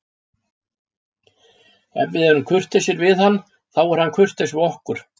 Ef við erum kurteisir við hann, þá er hann kurteis við okkur.